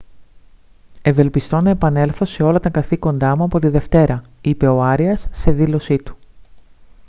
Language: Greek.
«ευελπιστώ να επανέλθω σε όλα τα καθήκοντά μου από τη δευτέρα» είπε ο άριας σε δήλωσή του